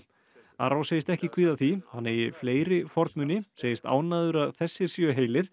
arró segist ekki kvíða því hann eigi fleiri segist ánægður að þessir séu heilir